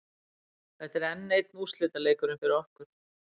Þetta er enn einn úrslitaleikurinn fyrir okkur.